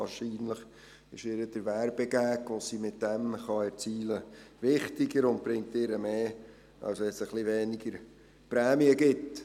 Wahrscheinlich ist ihr der Werbegag, den sie damit erzielen kann, wichtiger und bringt ihr mehr, als wenn es etwas weniger Prämie gibt.